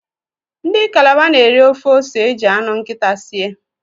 Ndi calabar n'eri ofe ose eji anu nkita sie